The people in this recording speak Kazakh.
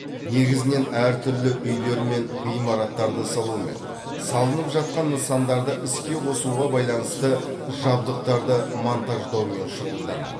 негізінен әр түрлі үйлер мен ғимараттарды салумен салынып жатқан нысандарды іске қосуға байланысты жабдықтарды монтаждаумен шұғылданады